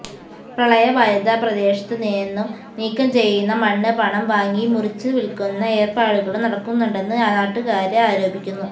പ്രളയബാധിത പ്രദേശത്ത് നിന്നും നീക്കം ചെയ്യുന്ന മണ്ണ് പണം വാങ്ങി മറിച്ചു വില്ക്കുന്ന ഏര്പ്പാടുകളും നടക്കുന്നുണ്ടെന്ന് നാട്ടുകാര് ആരോപിക്കുന്നു